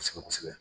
Kosɛbɛ kosɛbɛ